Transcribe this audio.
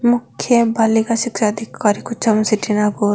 मुख्य बालिका शिक्षा अधिकारी कुचामन सिटी नागौर --